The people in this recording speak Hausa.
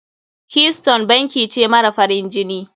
Keystone banki ce mara farin jini.